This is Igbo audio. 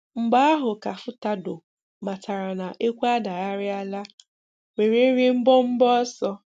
Mgbe ahụ ka Furtado matàrà na ekwù adàghàrị̀alà wèrè rịè mbọ̀mbọ̀ ọsọ.